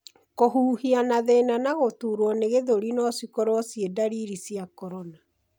Kũhuhia na thina na gũturwo nĩ gĩthũri no cikorwo cĩi ndariri cia corona